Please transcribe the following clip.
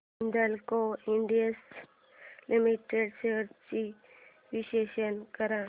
Hindalco industries limited shares चे विश्लेषण कर